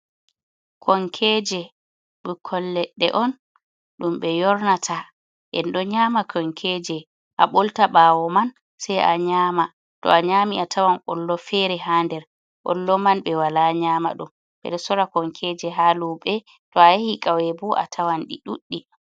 Konkeje, ɗum ɓikkon leɗɗe un ɗum ɓe yornata, en ɗo nyama konkeje, a ɓolta ɓawo man sei a nyama, to a nyami a tawan kollo fere ha nder kollo man ɓe wala nyama ɗum. Ɓe sora konkeje ha luɓe to a yahi kauye bo a tawan ɗi ɗuɗɗi.